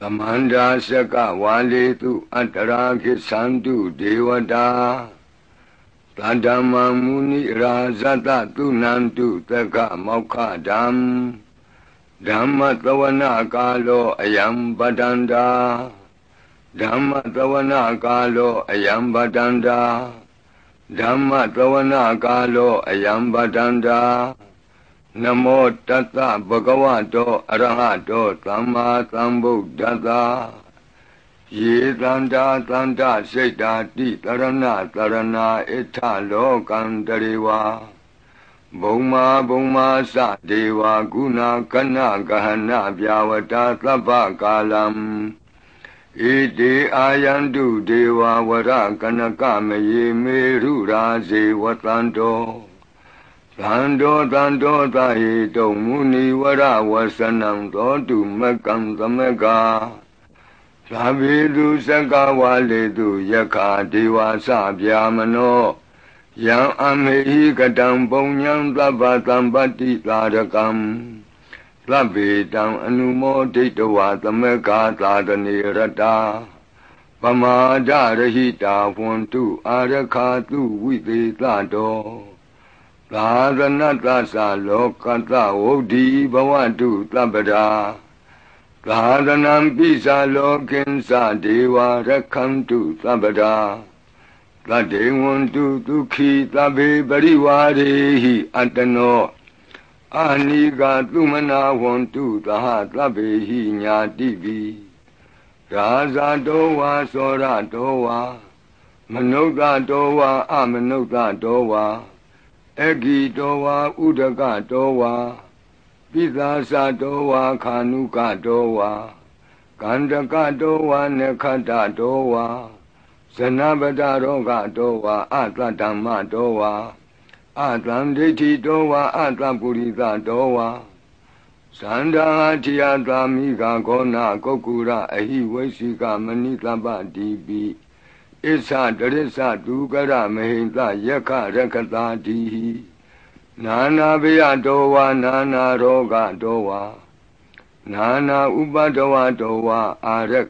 သမန္တာ စက္က ဝါဠေသု၊ အတြာ’ ဂစ္ဆန္တု ဒေဝတာ။ သဒ္ဓမ္မံ မုနိရာဇဿ၊ သုဏန္တု သဂ္ဂမောက္ခဒံ။ ၂။ ဓမ္မဿဝနကာလော အယံ ဘဒ္ဒန္တာ။ ဓမ္မဿဝနကာလော အယံ ဘဒ္ဒန္တာ။ ဓမ္မဿဝနကာလော အယံ ဘဒ္ဒန္တာ။ ၃။ နမော တဿ ဘဂဝတော အရဟတော သမ္မာသမ္ဗုဒ္ဓဿ။ ၄။ ယေ သန္တာ သန္တ စိတ္တာ, တိသရဏ သရဏာ, ဧတ္ထ လောကန္တရေ ဝါ။ ဘုမ္မာ ဘုမ္မာ စ ဒေဝါ, ဂုဏ ဂဏ ဂဟဏ, ဗျာဝဋာ သဗ္ဗကာလံ။ ဧတေ အာယန္တု ဒေဝါ, ဝရ ကနက မယေ, မေရုရာဇေ ဝသန္တော။ သန္တော သန္တောသဟေတုံ, မုနိ ဝရ ဝစနံ, သောတုမဂ္ဂံ သမဂ္ဂါ။ ၅။ သဗ္ဗေသု စက္ကဝါဠေသု၊ ယက္ခာ ဒေဝါ စ ဗြဟ္မနော။ ယံ အမှေဟိ ကတံ ပုညံ၊ သဗ္ဗသမ္ပတ္တိ သာဓကံ။ ၆။ သဗ္ဗေ တံ အနုမောဒိတွာ၊ သမဂ္ဂါ သာသနေ ရတာ။ ပမာဒရဟိတာ ဟောန္တု၊ အာရက္ခာသု ဝိသေသတော။ ၇။ သာသနဿ စ လောကဿ၊ ဝုဍ္ဎီ ဘဝတု သဗ္ဗဒါ။ သာသနမ္ပိ စ လောကဉ္စ၊ ဒေဝါ ရက္ခန္တု သဗ္ဗဒါ။ ၈။ သဒ္ဓိံ ဟောန္တု သုခီ သဗ္ဗေ၊ ပရိဝါရေဟိ အတ္တနော။ အနီဃာ သုမနာ ဟောန္တု၊ သဟ သဗ္ဗေဟိ ဉာတိဘိ။ ၉။ ရာဇတော ဝါ စောရတော ဝါ မနုဿတော ဝါ အမနုဿတော ဝါ အဂ္ဂိတော ဝါ ဥဒကတော ဝါ ပိသာစတော ဝါ ခါဏုကတော ဝါ ကဏ္ဍကတော ဝါ နက္ခတ္တတော ဝါ ဇနပဒရောဂတော ဝါ အသဒ္ဓမ္မတော ဝါ အသန္ဒိဋ္ဌိတော ဝါ အသပ္ပုရိသ ဝါ စဏ္ဍ ဟတ္ထိ အဿ မိဂ ဂေါဏ ကုက္ကုရ အဟိ ဝိစ္ဆိက မဏိသပ္ပ ဒီပိ အစ္ဆ တရစ္ဆ သူကရ မဟိံသ ယက္ခ ရက္ခသာဒီဟိ နာနာဘယတော ဝါ နာနာရောဂတော ဝါ နာနာဥပဒ္ဒဝ တောဝါ အာရက္